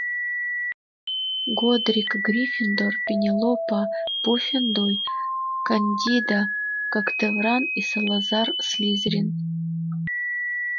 годрик гриффиндор пенелопа пуффендуй кандида когтевран и салазар слизерин